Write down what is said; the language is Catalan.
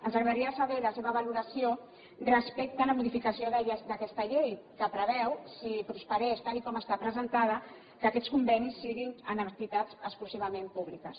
ens agradaria saber la seva valoració respecte a la modificació d’aquesta llei que preveu si prosperés tal com està presentada que aquests convenis siguin amb entitats exclusivament públiques